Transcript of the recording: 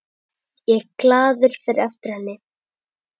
Ég glaður fer eftir henni.